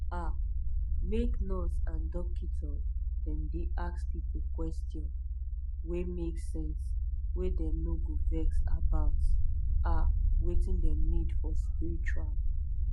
ah make nurse and dokita dem dey ask pipo question wey make sense wey dem no go vex about ah wetin dem need for spritual